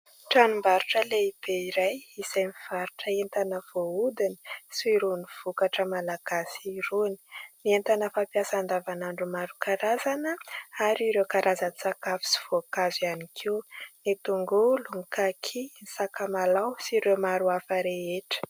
Tranombarotra lehibe iray izay mivarotra entana voahodina sy irony vokatra malagasy irony, ny entana fampiasa andavanandro maro karazana ary ireo karazan-tsakafo sy voankazo ihany koa, ny tongolo, kaky, ny sakamalaho sy ireo maro hafa rehetra.